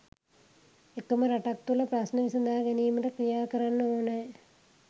එකම රටක් තුළ ප්‍රශ්න විසඳා ගැනීමට ක්‍රියා කරන්න ඕනෑ